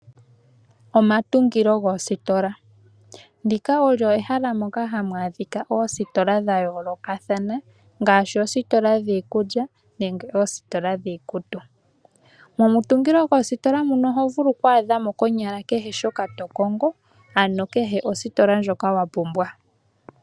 Omatungilo goositola, ndika olyo ehala moka hamu adhika oositola dha yoolokathana, ngaashi oositola dhiikulya, nenge oositola dhiikutu. Momutungilo goositola muno oho vulu okwaadha mo konyala kehe shoka to kongo, ano kehe ositola ndjoka wa pumbwa.